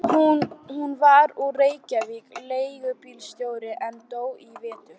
Hann var úr Reykjavík, leigubílstjóri, en dó í vetur.